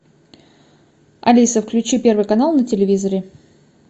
алиса включи первый канал на телевизоре